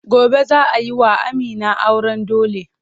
Gobe za a yi wa Amina auren dole.